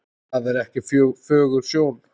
Það er ekki fögur sjón.